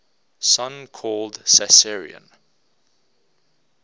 son called caesarion